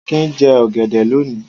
Akin jẹ ọ̀gẹ̀dẹ̀ lónìí.